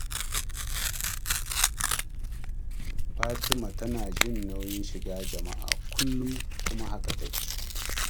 Fatima tana jin nauyin shiga jama'a, kullum kuma haka take